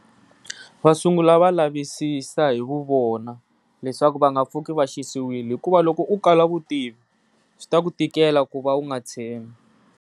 Va sungula va lavisisi hi vu vona leswaku va nga pfuki va xisiwile hikuva loko u kala vutivi swi ta ku tikela ku va u nga tshembi.